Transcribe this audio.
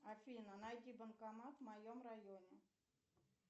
афина найди банкомат в моем районе